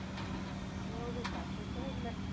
ஒரு suspense உம் இல்லை